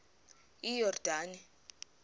iyordane